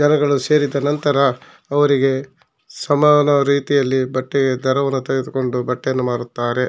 ಸೇರಿದ ನಂತರ ಅವರಿಗೆ ಸಮಾನ ರೀತಿಯಲ್ಲಿ ಬಟ್ಟೆಯನ್ನು ತೆಗೆದುಕೊಂಡು ಬಟ್ಟೆಯನ್ನು ಮಾರುತ್ತಾರೆ.